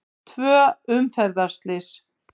Tvö umferðarslys